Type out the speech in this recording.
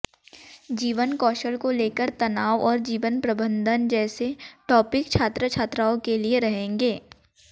जीवन कौशल को लेकर तनाव और जीवन प्रबंधन जैसे टॉपिक छात्र छात्राओं के लिए रहेंगे